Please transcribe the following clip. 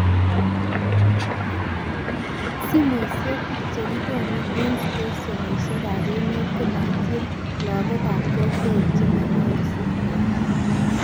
Somoishek chekikonu eng stationishekab emet komaitini lagukab kokwet chemanyoru signal